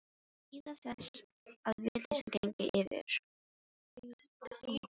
Bíða þess að vitleysan gengi yfir.